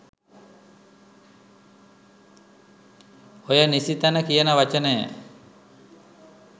ඔය "නිසිතැන" කියන වචනය